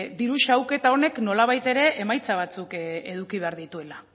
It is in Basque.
diru xahuketa honek nolabait ere emaitza batzuk eduki behar dituela